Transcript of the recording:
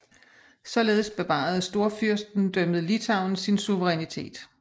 Således bevarede storfyrstendømmet Litauen sin suverænitet